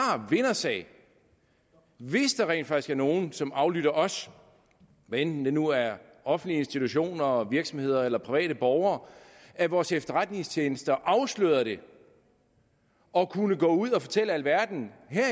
vindersag hvis der rent faktisk er nogle som aflytter os hvad enten det nu er offentlige institutioner og virksomheder eller private borgere at vores efterretningstjenester afslørede det og kunne gå ud og fortælle alverden